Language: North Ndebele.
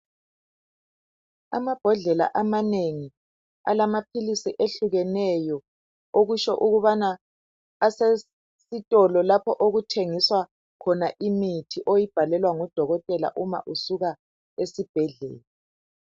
Amabhodlela amanengi alamaphilisi ehlukeneyo okusho ukubana asesitolo lapho okuthengiswa khona imithi oyibhalelwa ngudokotela uma usuka esibhedlela.